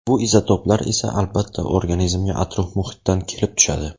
Bu izotoplar esa albatta organizmga atrof-muhitdan kelib tushadi.